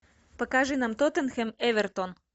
покажи нам тоттенхэм эвертон